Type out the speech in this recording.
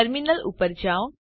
terminal ઉપર જાઓ